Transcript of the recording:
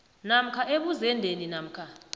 namkha ebuzendeni namkha